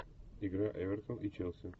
игра эвертон и челси